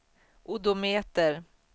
odometer